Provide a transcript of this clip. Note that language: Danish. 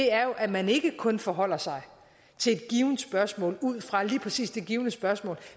er jo at man ikke kun forholder sig til et givent spørgsmål ud fra lige præcis det givne spørgsmål